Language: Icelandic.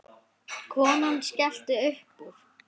Konan skellti upp úr.